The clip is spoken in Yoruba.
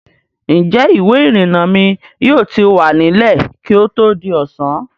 Ǹjẹ́ ìwé-ìrìnnà mi yóò ti wà nílẹ̀ kí ó tó di ọ̀sán?